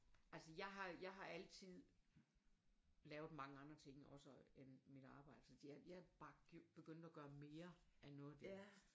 Altså jeg har jeg har altid lavet mange andre ting også end mit arbejde så jeg begyndte at gøre mere af noget af det